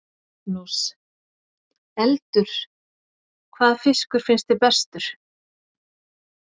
Magnús: Eldur, hvaða fiskur finnst þér bestur?